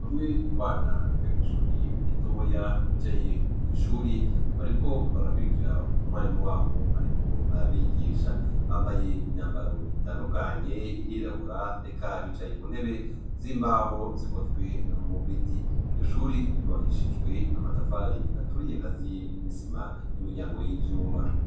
Bamwe mu bana biga kw'ishuri iritoya bicaye mw'ishuri bariko barakwirikira mu mwarimu wabo, ariko abigisha bambaye imyambaro itandukanye irirawura eka bicaye ku ntebe z'imbaho zikozwe mu biti iryo shuri ryubakishijwe amatafari aturiye akaziye n'isima n'imiryango y'ivyuma.